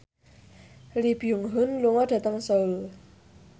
Lee Byung Hun lunga dhateng Seoul